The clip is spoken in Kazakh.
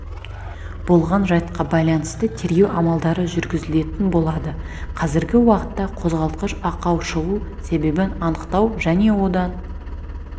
болған жайтқа байланысты тергеу амалдары жүргізілетін болады қазіргі уақытта қозғалтқыш ақау шығу себебін анықтау және одан